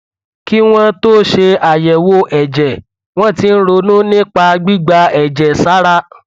kí wọn tó ṣe àyẹwò ẹjẹ wọn ti ń ronú nípa gbígba ẹjẹ sára